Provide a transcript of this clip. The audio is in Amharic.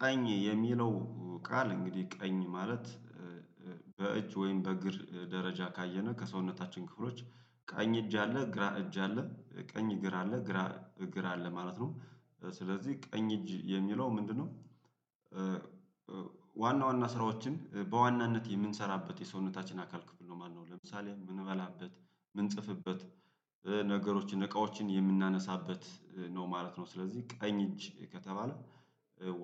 ቀኝ የሚለው ቃል እንግዲህ ቀኝ ማለት በእጅ ወይም በእግር ደረጃ ካየነ ከሰውነታችን ክፍሎች ቀኝ እጅ አለ ግራ እጅ አለ ቀኝ እግር አለ ግራ እግር አለ ማለት ነው፤ ስለዚህ ቀኝ እጅ የሚለው ምንድነው? ዋና ዋና ስራዎችን በዋናነት የምንሰራበት የሰውነታችን አካል ክፍል ነው ማለት ነው ለምሳሌ ምንበላበት ምን ጽፍበት ነገሮችን እቃዎችን የምናነሳበት ነው ማለት ነው ስለዚህ ቀኝ እጅ ከተባለ